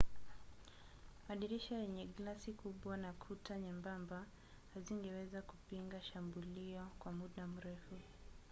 madirisha yenye glasi kubwa na kuta nyembamba hazingeweza kupinga shambulio kwa muda mrefu